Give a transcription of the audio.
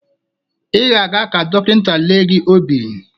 Ị ga-aga ka dọkịnta lee gị obi